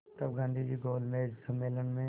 तब गांधी गोलमेज सम्मेलन में